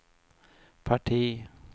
parti